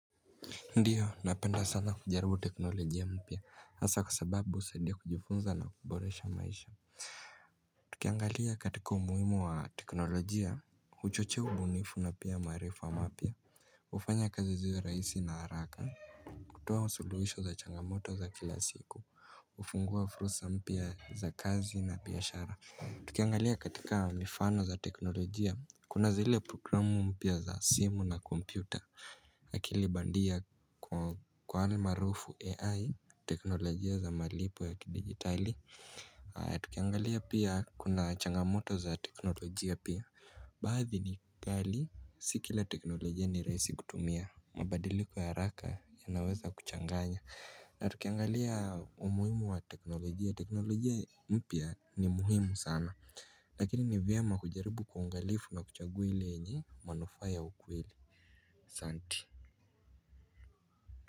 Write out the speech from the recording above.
Ndiyo napenda sana kujaribu teknolojia mpya hasa kwa sababu husadia kujifunza na kuboresha maisha tukiangalia katika umuhimu wa teknolojia huchochea ubunifu na pia maarifa mapya hufanya kazi ziwe raisi na haraka kutoa usuluisho za changamoto za kila siku hufungua fursa mpya za kazi na biashara Tukiangalia katika mifano za teknolojia Kuna zile programu mpya za simu na kompyuta akili bandia kwa almaarufu AI teknolojia za malipo ya kidigitali Tukiangalia pia kuna changamoto za teknolojia pia Baadhi ni pali si kila teknolojia ni raisi kutumia mabadiliko ya haraka yanaweza kuchanganya na tukiangalia umuhimu wa teknolojia teknolojia mpya ni muhimu sana Lakini ni vyema kujaribu kwa uangalifu na kuchagua ile yenye manufaa ya ukweli Santi.